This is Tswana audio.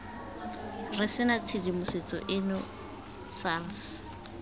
re sena tshedimosetso eno sars